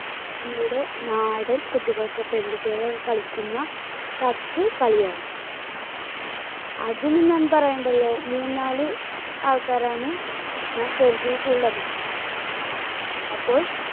നമ്മുടെ നാടൻ കുട്ടികളൊക്കെ, പെൺകൂട്ടികളൊക്കെ കളിക്കുന്ന കക്ക് കളിയാണ്. അതിനു ഞാൻ പറയേണ്ടല്ലോ മൂന്നാല് ആൾക്കാരാണ് നാം കരുതിയിട്ടുള്ളത്. അപ്പോൾ